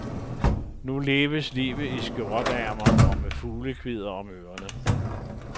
Nu leves livet i skjorteærmer og med fuglekvidder om ørerne.